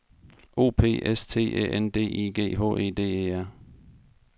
O P S T Æ N D I G H E D E R